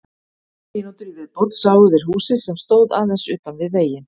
Eftir fimmtán mínútur í viðbót sáu þeir húsið sem stóð aðeins utan við veginn.